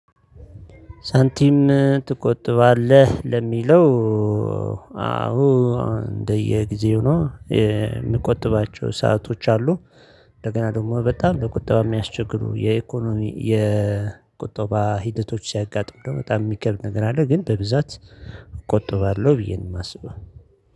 ሳንቲም ትቆጥባለህ ለሚለው አዎ እንደየጊዜው ነው የምቆጥብባቸው ሰአቶች አሉ። እንደገና ደግሞ በጣም ለቁጠባ የሚያስቸግሩ የኢኮኖሚ የቁጠባ ሂደቶች ሲያጋጥም ደሞ በጣም የሚከብድ ነገር አለ። ግን በብዛት እቆጥባለሁ ብዬ ነው የማስበው